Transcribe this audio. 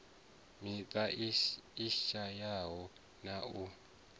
miṱa i shayaho na u